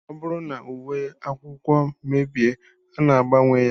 Ọ bụrụ na uwe akwụkwọ mebie, a na-agbanwe ya